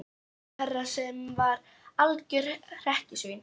Dóra á Her sem var algjört hrekkjusvín.